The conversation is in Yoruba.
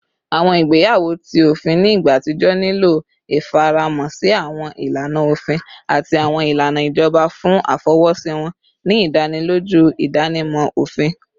Awọn igbeyawo ti ofin ni igba atijọ nilo ifaramọ si awọn ilana ofin ati awọn ilana ijọba fun afọwọsi wọn, ni idaniloju idanimọ ofin